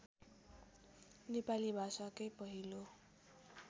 नेपाली भाषाकै पहिलो